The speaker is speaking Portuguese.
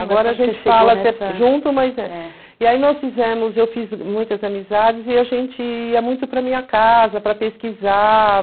Agora a gente fala junto, mas e aí nós fizemos, eu fiz muitas amizades e a gente ia muito para minha casa para pesquisar.